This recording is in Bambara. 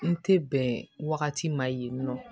N tɛ bɛn wagati ma yen nɔ